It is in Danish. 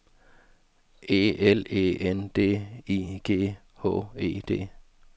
E L E N D I G H E D